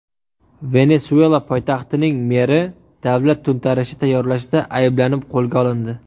Venesuela poytaxtining meri davlat to‘ntarishi tayyorlashda ayblanib qo‘lga olindi.